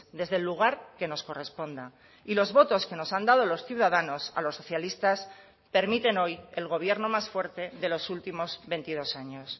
desde el lugar que nos corresponda y los votos que nos han dado los ciudadanos a los socialistas permiten hoy el gobierno más fuerte de los últimos veintidós años